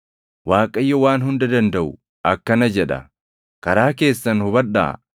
Waaqayyo Waan Hunda Dandaʼu akkana jedha: “Karaa keessan hubadhaa.